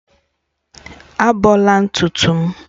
Ábọ̀la ntutu m